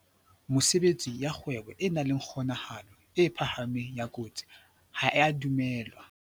Mesebetsi ya kgwebo e nang le kgonahalo e phahameng ya kotsi ha e a dumellwa